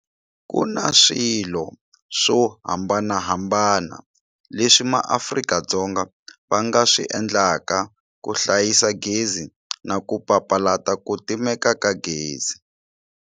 KU NA SWILO SWO hambanahambana leswi maAfrika-Dzonga va nga swi endlaka ku hlayisa gezi na ku papalata ku timeka ka gezi.